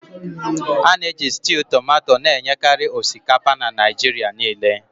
A na-eji stew tomato na-enyekarị osikapa na Naịjirịa niile.